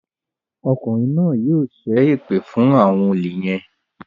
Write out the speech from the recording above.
Ọkùnrin náà yóò ṣe èpè fún àwọn olè yén.